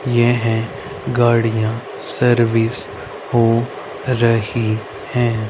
येह गाड़ियां सर्विस हो रही है।